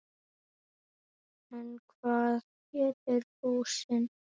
En hvað gerir lúsin?